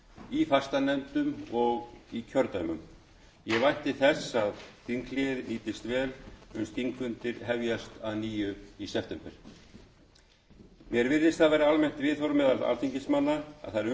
í fastanefndum og í kjördæmum ég vænti þess að þinghléið nýtist vel uns þingfundir hefjast að nýju í september mér virðist það vera almennt viðhorf meðal alþingismanna að þær umbætur sem samþykktar voru á starfsháttum